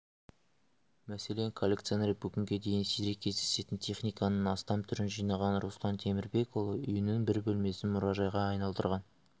мәселен коллекционер бүгінге дейін сирек кездесетін техниканың астам түрін жинаған руслан темірбекұлы үйінің бір бөлмесін мұрайжайға айналдырған